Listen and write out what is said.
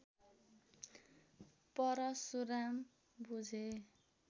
परशुराम बुझे